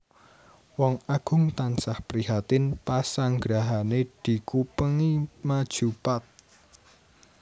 Wong Agung tansah prihatin pasanggrahané dikupengi maju pat